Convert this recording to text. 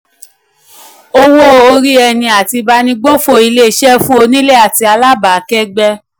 owó orí ẹni àti ìbánigbófò ilé-iṣẹ́ fún onílé àti alábàákẹ́gbẹ́.